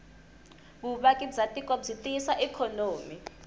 vuvaki bwatiko bwitiyisa ikonomi